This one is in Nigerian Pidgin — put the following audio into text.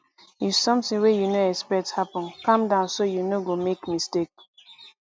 if something wey you no expect happen calm down so you no go make mistake